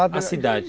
A cidade.